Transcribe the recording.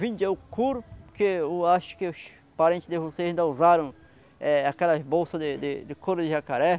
Vendia o couro, porque eu acho que os parentes de vocês ainda usaram é aquelas bolsas de de de couro de jacaré.